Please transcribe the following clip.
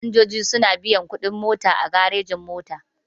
Fasinjoji suna biyan kuɗin mota a garejin-mota.